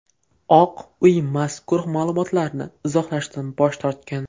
Oq uy mazkur ma’lumotlarni izohlashdan bosh tortgan.